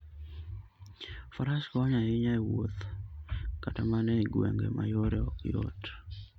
Faras konyo ahinya e wuoth kata mana e gwenge ma yore ok yot.